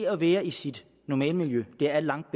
at være i sit normale miljø er langt